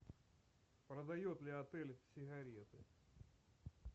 продает ли отель сигареты